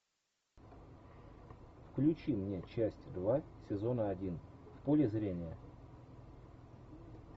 включи мне часть два сезона один в поле зрения